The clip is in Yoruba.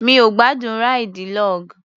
Mi ò gbádùn ráìdì log.